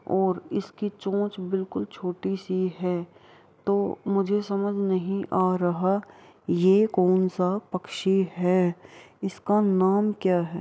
और इसकी चोंच बिल्कुल छोटी सी है तो मुझे समझ नहीं आ रहा ये कौन सा पक्षी है। इसका नाम क्या है।